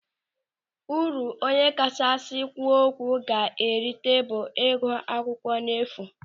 Uru onye kachasị kwuo okwu ga-erita bụ ịgụ akwụkwọ n'efu.